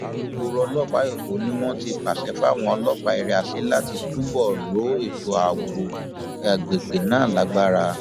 alūkkóró ọlọpàá èkó ni wọn ti pàṣẹ fáwọn ọlọpàá area c láti túbọ rọ ètò ààbò àgbègbè náà lágbára